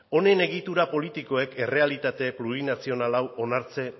honen egitura politikoek errealitate plurinazional hau onartzen